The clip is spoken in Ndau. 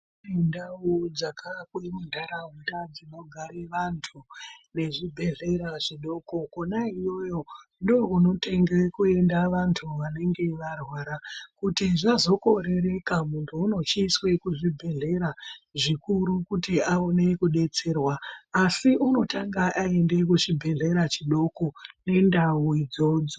Mundawu dzaka Bude mundaraunda dzinogare vandu nezvhibhedhlera zvidoko kona iyoyo ndokunotenge kunoenda vandu vanenge varwara kuti zvozokorereka mundu unochiiswe kuzvibhedhlera zvikuru kuti awone kubetserwa asi unotanga aende kuchibhedhlera chidoko nendawu idzodzo.